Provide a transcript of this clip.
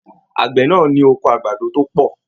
Àgbẹ náà ní oko àgbàdo to pọ.